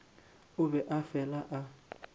o be a fele a